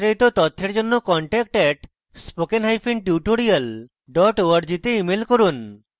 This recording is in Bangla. বিস্তারিত তথ্যের জন্য contact @spokentutorial org তে ইমেল করুন